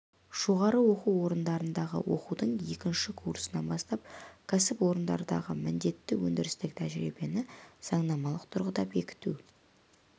жоғары оқу орындарындағы оқудың екінші курсынан бастап кәсіпорындардағы міндетті өндірістік тәжірибені заңнамалық тұрғыда бекіту